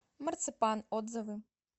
марципан отзывы